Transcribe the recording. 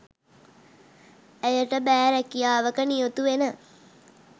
ඇයට බෑ රැකියාවක නියුතු වෙන